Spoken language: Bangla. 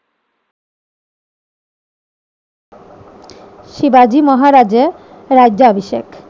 শিবাজী মহারাজের রাজ্যাভিষেক,